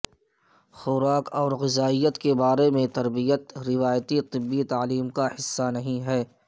خوراک اور غذائیت کے بارے میں تربیت روایتی طبی تعلیم کا حصہ نہیں ہے